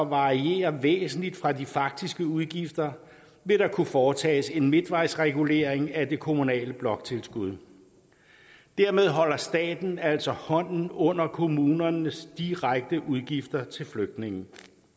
variere væsentligt fra de faktiske udgifter vil der kunne foretages en midtvejsregulering af det kommunale bloktilskud dermed holder staten altså hånden under kommunernes direkte udgifter til flygtninge